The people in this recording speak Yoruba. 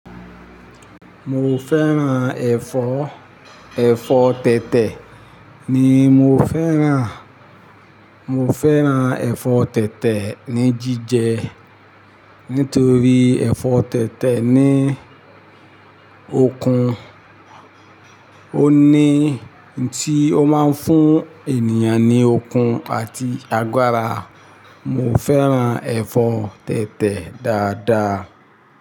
Mo fẹ́ràn ẹ̀fọ́, ẹ̀fọ́ tètè ni mo fẹ́ràn. Mo fẹ́ràn ẹ̀fọ́ tètè ní jíjẹ nítorí ẹ̀fọ́ tètè ní okun, ó ní ohun tí ó máa ń fún ènìyàn ní okun àti agbára. Mo fẹ́ràn ẹ̀fọ́ tètè dáadáa.